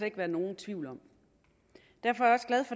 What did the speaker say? ikke være nogen tvivl om derfor